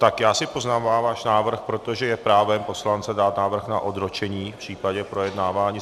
Tak já si poznamenám váš návrh, protože je právem poslance dát návrh na odročení v případě projednávání.